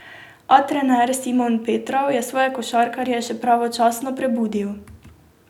A trener Simon Petrov je svoje košarkarje še pravočasno prebudil.